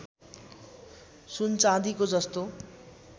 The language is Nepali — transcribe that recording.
सुन चाँदीको जस्तो